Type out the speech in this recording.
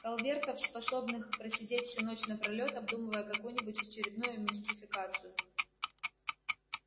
калвертов способных просидеть всю ночь напролёт обдумывая какую-нибудь очередную мистификацию